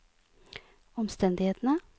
omstendighetene